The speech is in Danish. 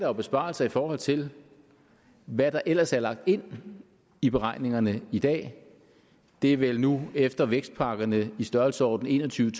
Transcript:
jo besparelser i forhold til hvad der ellers er lagt ind i beregningerne i dag det er vel nu efter vækstpakkerne i størrelsesordenen en og tyve